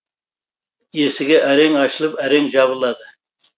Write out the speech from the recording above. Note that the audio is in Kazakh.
есігі әрең ашылып әрең жабылады